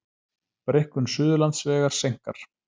Breikkun Suðurlandsvegar seinkar